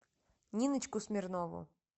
ниночку смирнову